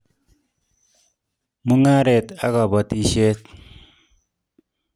Mung'aret ak kabatishet